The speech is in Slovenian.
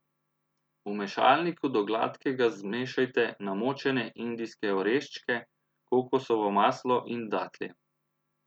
V mešalniku do gladkega zmešajte namočene indijske oreščke, kokosovo maslo in datlje.